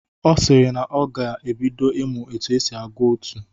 Ọ sịrị na ọ ga-ebido ịmụ otu esi agụ otú.